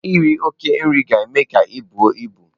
Iri oke nri ga-eme ka ibu ibu.